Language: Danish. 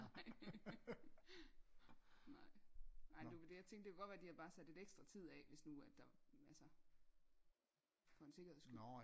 Nej nej nej du jeg tænkte det kunne jo godt være de havde bare sat noget ekstra tid hvis nu at der altså for en sikkerheds skyld